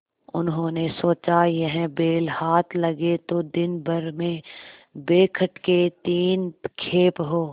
उन्होंने सोचा यह बैल हाथ लगे तो दिनभर में बेखटके तीन खेप हों